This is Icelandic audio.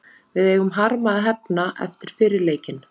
Við eigum harma að hefna eftir fyrri leikinn.